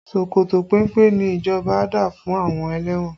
Ṣòkòtò péńpé ni ìjọba dá fún àwọn ẹlẹ́wọ̀n